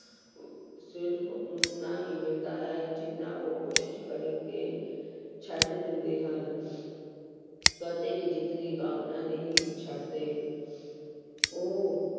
ਸਿਰਫ਼ ਓਨਾ ਹੀ ਮਿਲਦਾ ਹੈ ਜਿੰਨਾ ਉਹ ਕੋਸ਼ਿਸ਼ ਕਰਕੇ ਛੱਡ ਦਿੰਦੇ ਹਨ ਕਦੇ ਵੀ ਜਿੱਤ ਦੀ ਕਾਮਨਾ ਨਹੀਂ ਛੱਡਦੇ ਉਹ